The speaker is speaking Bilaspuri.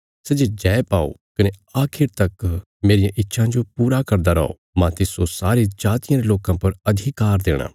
सै जे जय पाओ कने आखिर तक मेरियां इच्छां जो पूरा करदा रौ मांह तिस्सो सारी जातियां रे लोकां पर अधिकार देणा